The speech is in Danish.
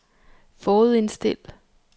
forudindstil